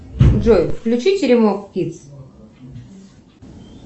джой включи теремок кидс